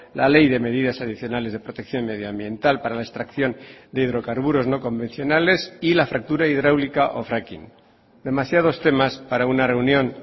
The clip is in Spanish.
la ley de medidas adicionales de protección medioambiental para la extracción de hidrocarburos no convencionales y la fractura hidráulica o fracking demasiados temas para una reunión